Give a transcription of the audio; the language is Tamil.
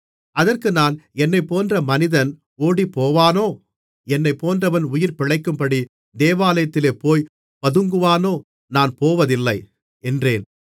அதற்கு நான் என்னைப்போன்ற மனிதன் ஓடிப்போவானோ என்னைப் போன்றவன் உயிர் பிழைக்கும்படி தேவாலயத்திலே போய்ப் பதுங்குவானோ நான் போவதில்லை என்றேன்